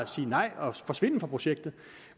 sige nej og forsvinde fra projektet